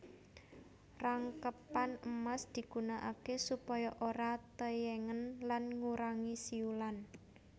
Rangkepan emas digunakaké supaya ora tèyèngen lan ngurangi siulan